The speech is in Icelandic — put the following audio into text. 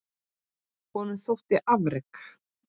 Honum þóttu afrek